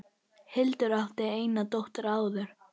Hildur átti eina dóttur áður.